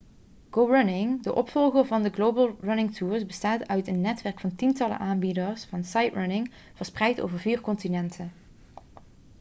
go running de opvolger van de global running tours bestaat uit een netwerk van tientallen aanbieders van sightrunning' verspreid over vier continenten